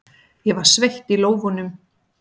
Ég var sveitt í lófunum.